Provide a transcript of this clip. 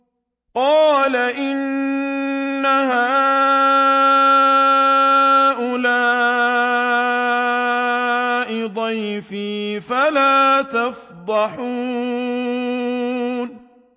قَالَ إِنَّ هَٰؤُلَاءِ ضَيْفِي فَلَا تَفْضَحُونِ